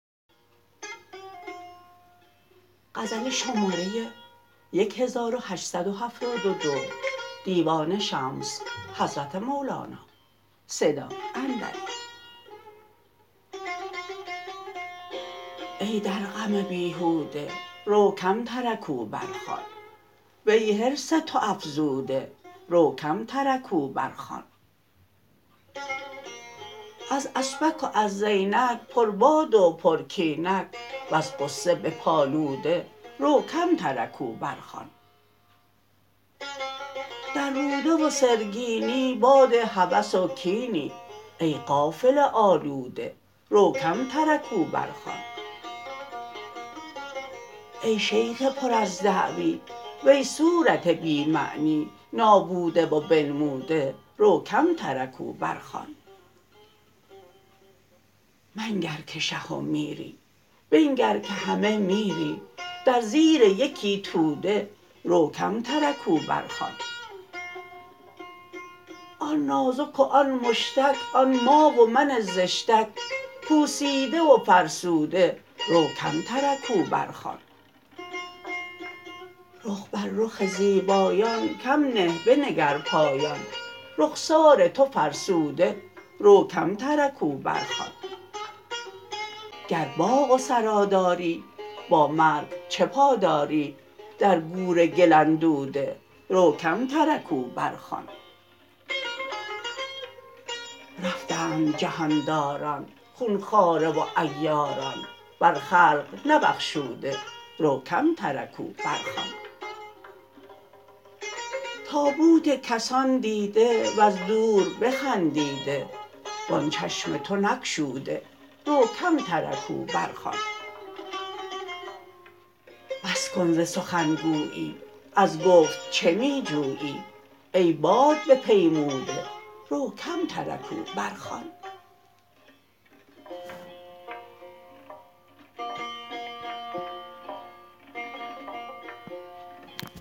ای در غم بیهوده رو کم ترکوا برخوان وی حرص تو افزوده رو کم ترکوا برخوان از اسپک و از زینک پربادک و پرکینک وز غصه بیالوده رو کم ترکوا برخوان در روده و سرگینی باد هوس و کینی ای غافل آلوده رو کم ترکوا برخوان ای شیخ پر از دعوی وی صورت بی معنی نابوده و بنموده رو کم ترکوا برخوان منگر که شه و میری بنگر که همی میری در زیر یکی توده رو کم ترکوا برخوان آن نازک و آن مشتک آن ما و من زشتک پوسیده و فرسوده رو کم ترکوا برخوان رخ بر رخ زیبایان کم نه بنگر پایان رخسار تو فرسوده رو کم ترکوا برخوان گر باغ و سرا داری با مرگ چه پا داری در گور گل اندوده رو کم ترکوا برخوان رفتند جهان داران خون خواره و عیاران بر خلق نبخشوده رو کم ترکوا برخوان تابوت کسان دیده وز دور بخندیده وان چشم تو نگشوده رو کم ترکوا برخوان بس کن ز سخن گویی از گفت چه می جویی ای بادبپیموده رو کم ترکوا برخوان